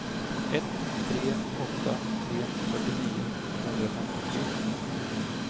ett tre åtta tre fyrtionio tvåhundrafemtiotre